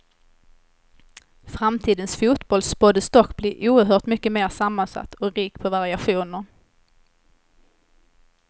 Framtidens fotboll spåddes dock bli oerhört mycket mer sammansatt och rik på variationer.